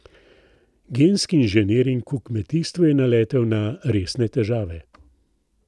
Genski inženiring v kmetijstvu je naletel na resne težave.